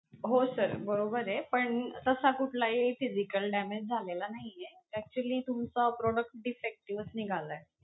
हो sir बरोबर आहे, पण तसा कुठलाही physical damage झालेला नाही आहे. actually तुमचा product defective चं निघालाय